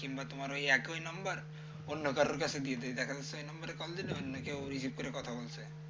কিংবা তোমার ওই একই number অন্য কারো কাছে দিয়ে দেয় দেখা যাচ্ছে ওই number কল দিলে অন্য কেউ receive করে কথা বলছে